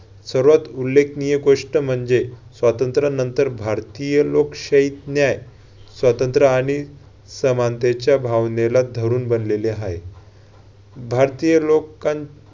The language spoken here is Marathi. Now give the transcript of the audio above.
सर्वात उल्लेखनीय गोष्ट म्हणजे स्वातंत्र्यानंतर भारतीय लोकशाही न्याय स्वातंत्र्य आणि समानतेच्या भावनेला धरुन बनलेले आहे. भारतीय लोकां